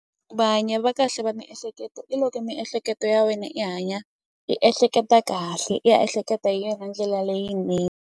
Va hanyi va kahle va miehleketo i loko miehleketo ya wena i hanya i ehleketa kahle i ya ehleketa hi yona ndlela .